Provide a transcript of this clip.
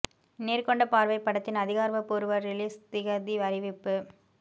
நேர் கொண்ட பார்வை படத்தின் அதிகார பூர்வ ரிலீஸ் திகதி அறிவிப்பு